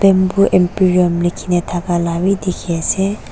bamboo emporium likhina thaka bi dikhiase.